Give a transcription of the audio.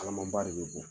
Kalaman ba de bɛ bɔ